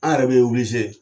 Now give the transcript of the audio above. yɛrɛ be